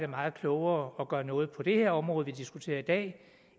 meget klogere at gøre noget på det her område vi diskuterer i dag